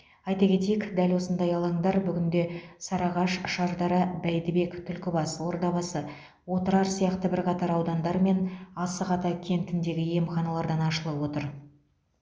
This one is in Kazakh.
айта кетейік дәл осындай алаңдар бүгінде сарыағаш шардара бәйдібек түлкібас ордабасы отырар сияқты бірқатар аудандар мен асық ата кентіндегі емханалардан ашылып отыр